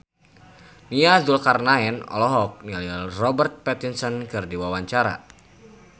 Nia Zulkarnaen olohok ningali Robert Pattinson keur diwawancara